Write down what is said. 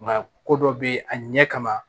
Nka ko dɔ be yen a ɲɛ kama